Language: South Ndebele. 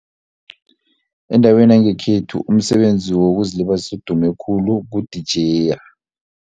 Endaweni yangekhethu umsebenzi wokuzilibazisa odume khulu kudijeya.